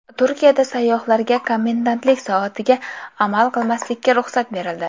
Turkiyada sayyohlarga komendantlik soatiga amal qilmaslikka ruxsat berildi.